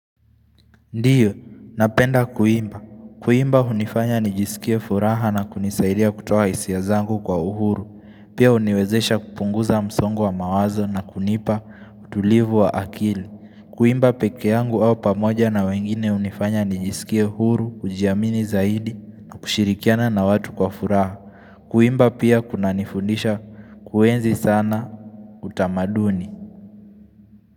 Ndiyo, napenda kuimba. Kuimba hunifanya nijisikia furaha na kunisaidia kutoa hisia zangu kwa uhuru. Pia huniwezesha kupunguza msongo wa mawazo na kunipa utulivu wa akili. Kuimba pekee yangu au pamoja na wengine hunifanya nijisikia huru, kujiamini zaidi na kushirikiana na watu kwa furaha. Kuimba pia kuna nifundisha kuenzi sana utamaduni.